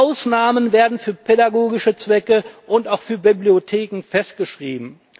Ausnahmen werden für pädagogische Zwecke und auch für Bibliotheken festgeschrieben.